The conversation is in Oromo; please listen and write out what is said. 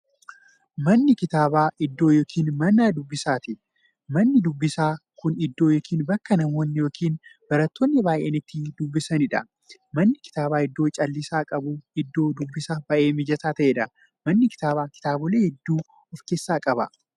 Manni kitaabaa iddoo yookiin Mana dubbisaati. Manni dubbisaa Kun iddoo yookiin bakka namoonni yookiin baratoonni baay'een itti dubbisaniidha. Manni kitaabaa iddoo callisa qabu, iddoo dubbisaaf baay'ee mijataa ta'eedha. Manni kitaabaa kitaabolee hedduu of keessaa qaba.